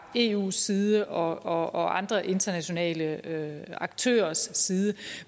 eus side og andre internationale aktørers side